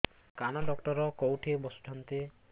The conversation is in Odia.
କାନ ଡକ୍ଟର କୋଉଠି ବସୁଛନ୍ତି